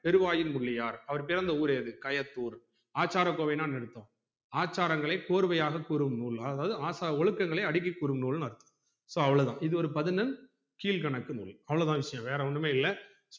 பெருவாயில் முள்ளியார் அவர் பிறந்த ஊரு எது கயத்தூர் ஆச்சாரகோவைனா என்ன அர்த்தம் ஆச்சாரங்களை கோர்வையாக கூறும்நூல் அதாது ஒழுக்கங்களை அடுக்கி கூறும் நூல்னு அர்த்தம் so அவ்ளோதான் இது ஒரு பதினொன் கீழ்கணக்கு நூல் அவ்ளோதா விஷயம் வேற ஒன்னும் இல்ல